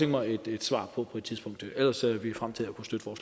mig et svar på på et tidspunkt ellers ser vi frem til